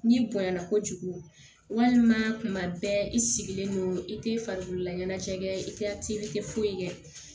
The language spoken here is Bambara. N'i bonya na kojugu walima tuma bɛɛ i sigilen don i tɛ farikolola ɲanajɛ kɛ i tɛ a telikɛ foyi kɛ